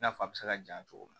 I n'a fɔ a bɛ se ka jan cogo min na